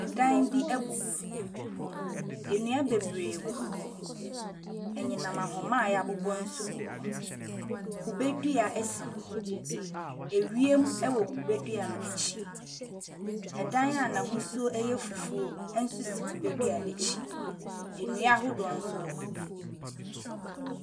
Ɛdan bi abubu. Nnua bebree gugu hɔ. Anyinam ahoma a yɛabobɔ nso gu hɔ. Kubedua nso si hɔ. Ewiem ɛwɔ kube dua no akyi. Ɛdan a n'ahosuo yɛ fufuo nso si kubedua no akyi. Nnua ahodoɔ nso wɔ hɔ bi.